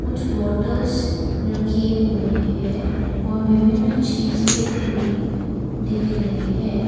कुछ बॉटल्स रखे हुए है और विभिन्न चीजें हमें दिख रहे है।